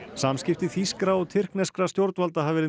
samskipti þýskra og tyrkneskra stjórnvalda hafa verið